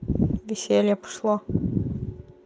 веселье пошло